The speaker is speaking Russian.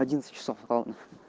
одиннадцать часов ровно